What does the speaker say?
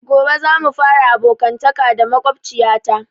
Gobe za mu fara abokantaka da makwabciya ta